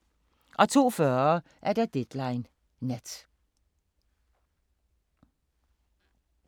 02:40: Deadline Nat